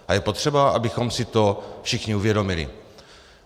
A je potřeba, abychom si to všichni uvědomili.